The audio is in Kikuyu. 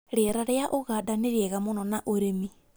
Rĩera rĩa ũganda nĩ rĩega mũno na ũrĩmi